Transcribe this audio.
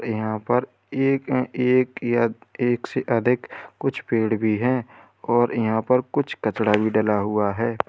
यहां पर एक एक या एक से अधिक कुछ पेड़ भी है और यहां पर कुछ कचरा भी डला हुआ है।